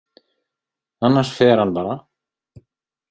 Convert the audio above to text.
Annars fer hann bara.